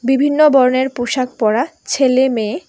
বিভিন্ন বর্ণের পোশাক পরা ছেলে মেয়ে।